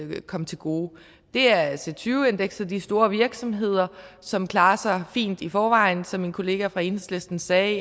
vil komme til gode det er c20 indekset de store virksomheder som klarer sig fint i forvejen som min kollega fra enhedslisten sagde